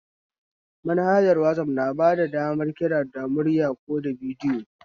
Manhajar wazaf na bada damar kira da murya ko da bidiyo